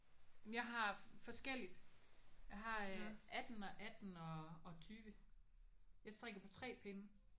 Men jeg har forskelligt. Jeg har 18 og 18 og og 20. Jeg strikker på 3 pinde